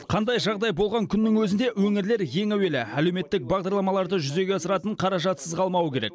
қандай жағдай болған күннің өзінде өңірлер ең әуелі әлеуметтік бағдарламаларды жүзеге асыратын қаражатсыз қалмауы керек